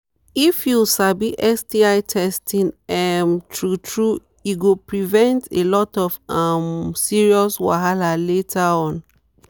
if u sabi sti testing um true true e go prevent a lot of um serious wahala later on